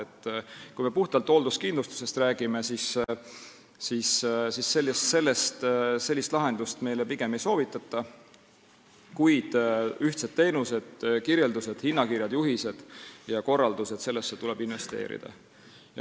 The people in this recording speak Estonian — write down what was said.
Kui me räägime puhtalt hoolduskindlustusest, siis sellist lahendust meile pigem ei soovitata, kuid ühtsed teenused, kirjeldused, hinnakirjad, juhised ja korraldused – nendesse tuleb investeerida.